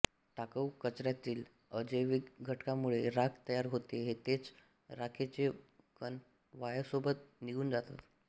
टाकाऊ कचऱ्यातील अजैविक घटकामुळे राख तयार होते तेच राखेचे कण वायुसोबत निघुण जातात